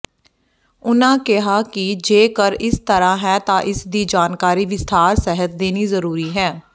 ਉਨ੍ਹਾਂ ਕਿਹਾ ਕਿ ਜੇਕਰ ਇਸ ਤਰ੍ਹਾਂ ਹੈ ਤਾਂ ਇਸਦੀ ਜਾਣਕਾਰੀ ਵਿਸਥਾਰ ਸਹਿਤ ਦੇਣੀ ਜ਼ਰੂਰੀ ਹੈ